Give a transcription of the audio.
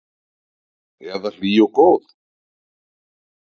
Eða hlý og góð?